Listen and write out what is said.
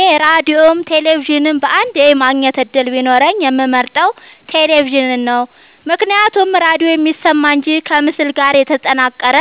እኔ ራዲዮም ቴሌቪዥንም በአንዴ የማግኘት እድል ቢኖረኝ የምመርጠው። ቴሌቪዥንን ነው ምክንያቱም ራዲዮ የሚሰማ እንጂ ከምስል ጋር የተጠናቀረ